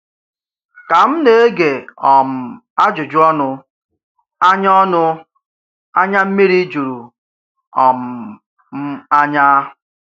Ka m na-ègé um ajụjụ ọnụ, ànyà ọnụ, ànyà mmiri jùrù um m ànyà.